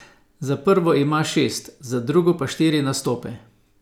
Za prvo ima šest, za drugo pa štiri nastope.